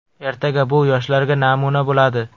Ertaga bu yoshlarga namuna bo‘ladi”.